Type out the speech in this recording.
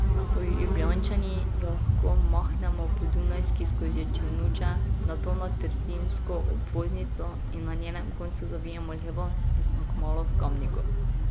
Ljubljančani jo lahko mahnemo po Dunajski skozi Črnuče, nato na trzinsko obvoznico in na njenem koncu zavijemo levo in smo kmalu v Kamniku.